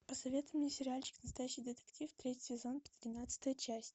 посоветуй мне сериальчик настоящий детектив третий сезон тринадцатая часть